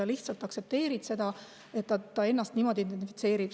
Sa lihtsalt aktsepteerid seda, et ta ennast niimoodi identifitseerib.